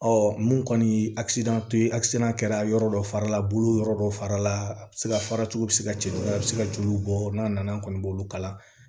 Ɔ mun kɔni ye ye kɛra yɔrɔ dɔ fara la bolo yɔrɔ dɔ fara la a bɛ se ka fara cogo bɛ se ka jelu a bɛ se ka joli bɔ n'a nana an kɔni b'olu kala